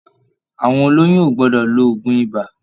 Àwọn oloyun o gbọdọ lò òògùn ibà.